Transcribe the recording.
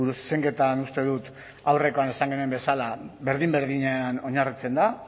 zuzenketan uste dut aurrekoan esan genuen bezala berdin berdinean oinarritzen da